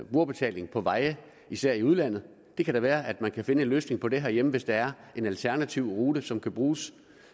brugerbetaling på veje især i udlandet det kan da være at man kan finde en løsning på det herhjemme hvis der er en alternativ rute som kan bruges